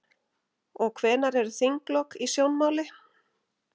Og hvenær eru þinglok í sjónmáli?